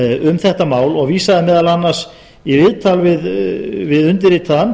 um þetta mál og vísaði meðal annars í viðtal við undirritaðan